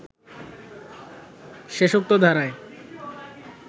শেষোক্ত ধারায়